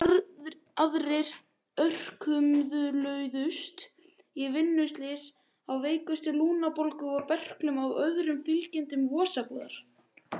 Aðrir örkumluðust í vinnuslysum eða veiktust af lungnabólgu, berklum og öðrum fylgikvillum vosbúðar.